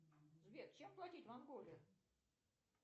сбер чем платить в анголе